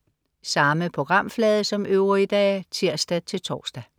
Samme programflade som øvrige dage (tirs-tors)